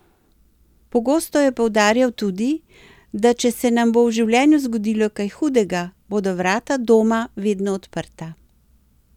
Pogosto je poudarjal tudi, da če se nam bo v življenju zgodilo kaj hudega, bodo vrata doma vedno odprta.